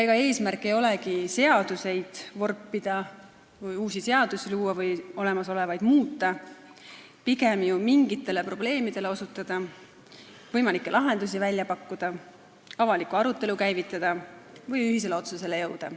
Ega eesmärk ei olegi seadusi vorpida, uusi seadusi luua või olemasolevaid muuta, pigem mingitele probleemidele osutada, lahendusi välja pakkuda, avalikku arutelu käivitada või ühisele otsusele jõuda.